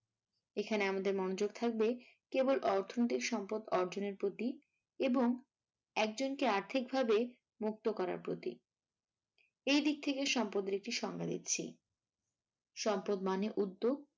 এখানে আমাদের মনোযোগ থাকবে কেবল অর্থনৈতিক সম্পদ অর্জনের প্রতি এবং একজনকে আর্থিকভাবে মুক্ত করার প্রতি, এইদিক থেকে সম্পদের একটি সংজ্ঞা দিচ্ছি। সম্পদ মানে উদ্যোগ